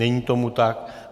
Není tomu tak.